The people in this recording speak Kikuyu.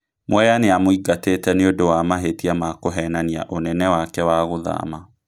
Mwea nĩemũingateti nĩundo wa mahetia ma kuhenania unene wake wa gũthama